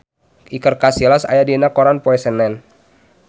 Iker Casillas aya dina koran poe Senen